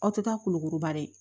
Aw tɛ taa kolokoro ba dɛ